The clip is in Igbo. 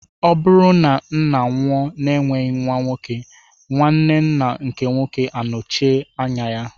Ọ bụrụ na ńnà nwụọ na enweghị nwa nwoke, nwanne ńnà nke nwoke anochite anya ya.